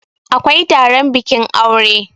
awkai Taron bikin aure